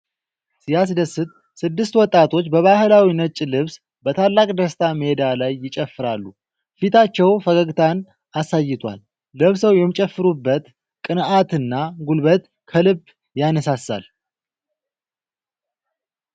ሲያስደስት! ስድስት ወጣቶች በባህላዊ ነጭ ልብስ በታላቅ ደስታ ሜዳ ላይ ይጨፍራሉ። ፊታቸው ፈገግታን አሳይቷል። ለብሰው የሚጨፍሩበት ቅንዓትና ጉልበት ከልብ ያነሳሳል።